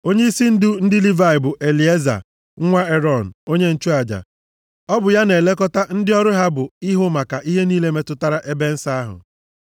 Onyeisi ndị ndu nke ndị Livayị bụ Elieza nwa Erọn, onye nchụaja. Ọ bụ ya na-elekọta ndị ọrụ ha bụ ihu maka ihe niile metụtara ebe nsọ ahụ.